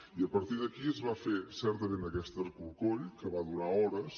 i a partir d’aquí es va fer certament aquest escorcoll que va durar hores